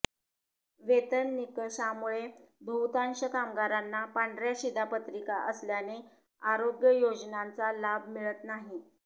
वेतन निकषामुळे बहुतांश कामगारांना पांढऱ्या शिधापत्रिका असल्याने आरोग्य योजनांचा लाभ मिळत नाही